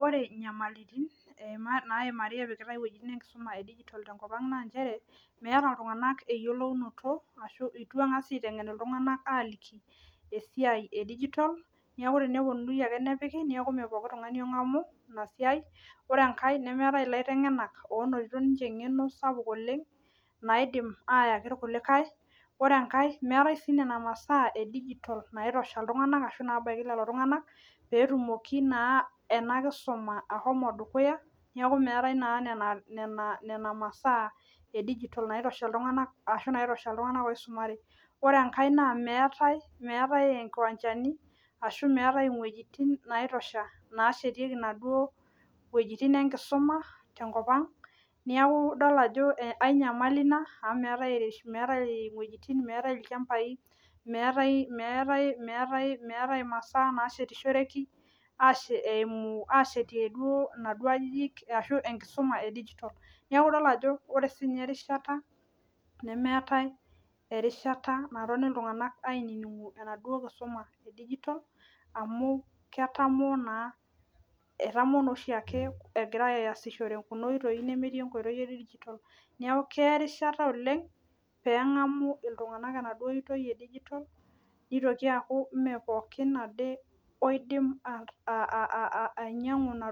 Ore inyamalaritin naimari epikitai iwuejitin enkisuma tenkop ang naa inchere meeta iltung'anak eyiolounoto ashuu eitu eng'asi aiteng'en iltung'anak aaliki esiai e digital neeeku teneyieuni ake nepiki neeku meepooki tung'ani ong'amu ina siai ore enkae nemeetai ilaiteng'enak oota eng'eno sapuk oleng naidim aayaki irkulikae ore meetai sii nena masaa e digital naitosha lelo tung'anak peetumoki naa enakisuma ashomo dukuya neeku meetai naa nena masaa e digital naata inakisuma ashuu naitosha iltung'anak oisumare ore enkae naa meetai inkiwanjani ashuu meetai iwuejitin naitosha naashetieki inaduo wuejitin enkisuma tenkop ang neeku idol ajo ae nyamali ina. Amu meetai iwuejitin meetai ilchambai meetai imasaa naashetishoreki eeimu aashetie duo inaduo aajijik ashuu enkisuma e digital neeku idol ajo ore sii ninye erishata nemeetai erishata natoni iltung'anak ainining aitijing'u enaduo kisuma neeku tenidol amu ketamoo naa oshii ake egira aasishore kuna ootoi nemetii neeku keya erishata oleng peeng'amu iltung'anak enaduo oitoi e digital neitoki aaku meepooki ade ainyiang'u ina toki